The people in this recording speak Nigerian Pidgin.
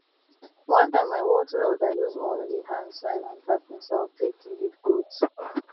one time i watch elder use only hand sign and tapping sound take lead goats